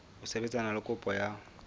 ho sebetsana le kopo ya